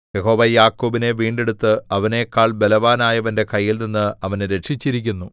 യഹോവ യാക്കോബിനെ വീണ്ടെടുത്ത് അവനെക്കാൾ ബലവാനായവന്റെ കൈയിൽനിന്ന് അവനെ രക്ഷിച്ചിരിക്കുന്നു